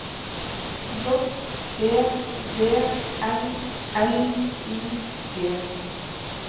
J E V N L I G